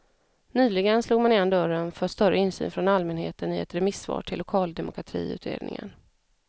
Nyligen slog man igen dörren för större insyn från allmänheten i ett remissvar till lokaldemokratiutredningen.